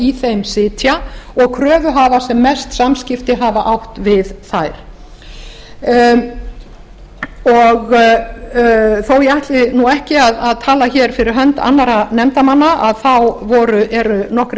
í þeim sitja og kröfuhafar sem mest samskipti hafa átt við þær þó ég ætli ekki að tala fyrir hönd annarra nefndarmanna þá eru nokkrir